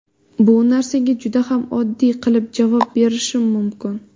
Bu narsaga juda ham oddiy qilib javob berishim mumkin.